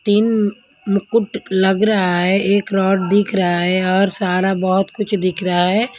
तीन मुकुट लग रहा है एक रॉड दिख रहा है और सारा बहुत कुछ दिख रहा है.